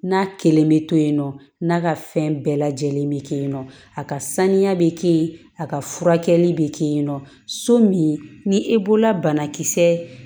N'a kelen bɛ to yen nɔ n'a ka fɛn bɛɛ lajɛlen bɛ kɛ yen nɔ a ka saniya bɛ kɛ yen a ka furakɛli bɛ kɛ yen nɔ so min ni e bolola banakisɛ